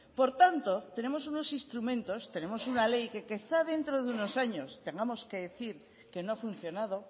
por tanto tenemos unos instrumentos tenemos una ley que quizá dentro de unos años tengamos que decir que no ha funcionado